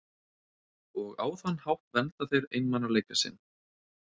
Og á þann hátt vernda þeir einmanaleika sinn.